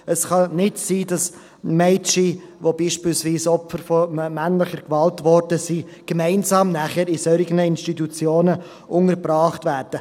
Es kann nicht sein, dass Mädchen, die beispielsweise Opfer von männlicher Gewalt geworden sind, nachher gemeinsam mit Männern in solchen Institutionen untergebracht werden.